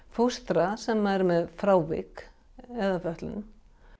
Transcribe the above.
fóstra sem eru með frávik eða fötlun